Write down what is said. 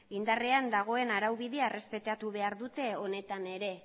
indarrean dagoen araubide errespetatu behar dute honetan ere